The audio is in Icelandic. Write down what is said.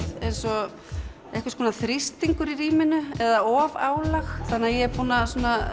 eins og þrýstingur í rýminu eða ofálag þannig að ég er búin að